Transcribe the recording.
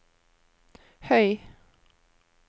høy